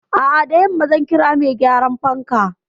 A'a, da yamma zan kira mai gyaran fankan.